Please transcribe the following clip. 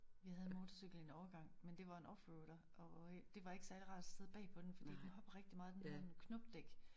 Vi havde motorcykel en årgang men det var en offroader og øh det var ikke særligt rart at sidde bag på den fordi den hoppede rigtigt meget den havde knopdæk